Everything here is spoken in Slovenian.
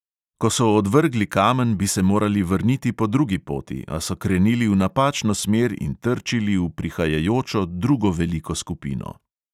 Ko so odvrgli kamen, bi se morali vrniti po drugi poti, a so krenili v napačno smer in trčili v prihajajočo drugo veliko skupino.